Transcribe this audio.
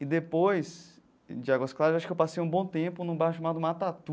E depois de Águas Claras eu acho que eu passei um bom tempo num bairro chamado Matatu,